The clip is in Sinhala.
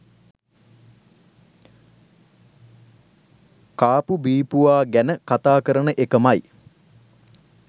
කාපු බීපුවා ගැන කතා කරන එකමයි.